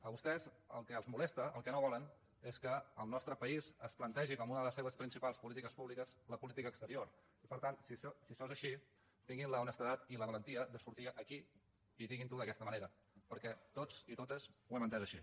a vostès el que els molesta el que no volen és que el nostre país es plantegi com una de les seves principals polítiques públiques la política exterior per tant si això és així tinguin l’honestedat i la valentia de sortir aquí a dir ho d’aquesta manera perquè tots i totes ho hem entès així